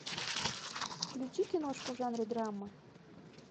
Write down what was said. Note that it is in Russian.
включи киношку в жанре драма